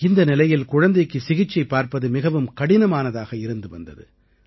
இந்த நிலையில் குழந்தைக்கு சிகிச்சை பார்ப்பது மிகவும் கடினமானதாக இருந்து வந்தது